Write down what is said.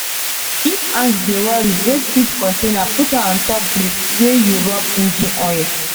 if ant dey worry raise seed container put am on top brick wey you rub engine oil.